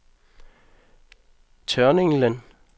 Tørninglen